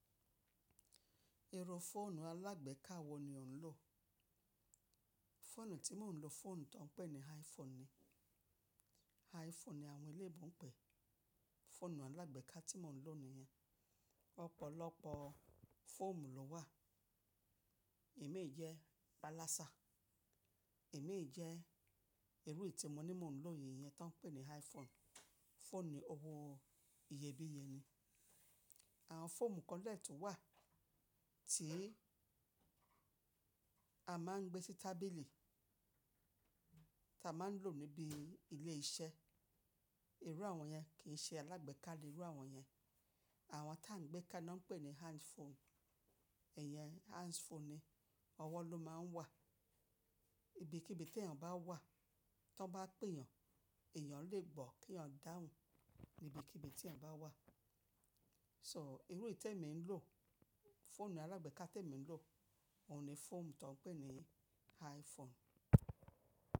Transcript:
Irú fóònù alágbèká wọ́n ni ò ń lò. Fóònù tí mò ń lò, fóònù tán pẹ́ ni iPhone ni. iPhone ni àwọn eléébo ń pè fóònù alágbèká tí mò ń lò nìyẹn. Ọ̀pọ̀lọpọ̀ fóònù ló wà. Imi jẹ́ pa lásá. Imi jẹ́ irú iyi ti mo ní mò ń lò nìyen tá ń pè ní iPhone. Fóònù owó iyebíye ni. Àwọn fóònù kan de tun wà tí a máa ń gbé sí tábìlì tá máa ń lò níbi ilé iṣẹ́. Irú àwọn yẹn kì í ṣe alágbèká ni irú àwọn yẹn. Àrọ tá ń gbé ká ná pèní hands phone. Ẹ̀yẹn hands phone ni. Ọwọ́ ló máa ń wà. Ibi kibibi tí ẹ̀yàn bá wà, tó bá pèèyàn, èèyàn lè gbọ́ kí èèyàn dáhùn níbi kibibi tí ẹ̀ bá wà. So irú ètè mi ń lò, fóònù alágbèká tí èmi ń lò, òun ni fóòmù tó ń pèní iPhone.